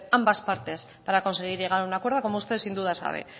ambas partes para conseguir llegar a un acuerdo como usted sin duda sabe